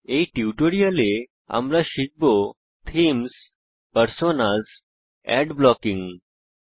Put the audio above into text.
এই টিউটোরিয়ালে আমরা শিখব থীমস পার্সোনাস মোজিলা ফায়ারফক্সে অ্যাড বিজ্ঞাপন ব্লকিং